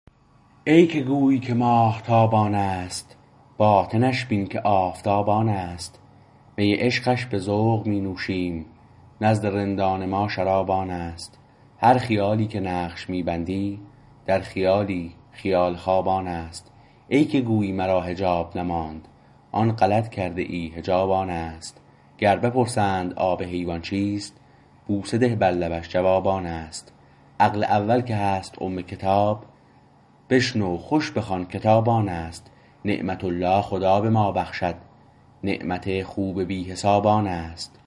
ای که گویی که ماهتاب آنست باطنش بین که آفتاب آنست می عشقش به ذوق می نوشیم نزد رندان ما شراب آنست هر خیالی که نقش می بندی در خیالی خیال خواب آنست ای که گویی مرا حجاب نماند آن غلط کرده ای حجاب آنست گر بپرسند آب حیوان چیست بوسه ده بر لبش جواب آنست عقل اول که هست ام کتاب بشنو خوش بخوان کتاب آنست نعمت الله خدا به ما بخشد نعمت خوب بی حساب آنست